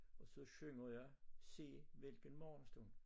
Og så synger jeg se hvilken morgenstund